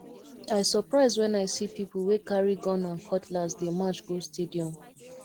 i surprise wen i see people wey carry gun and cutlass dey march go stadium